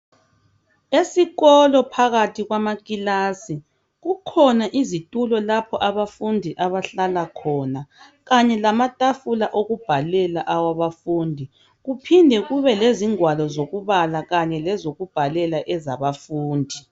Esikolo phakathi kwamakilasi kukhona izitulo lapho abafundi abahlala khona kanye lamatafula okubhalela awabafundi kuphinde kube lezingwalo zokubala kanye lozokubhalela ezabafundi.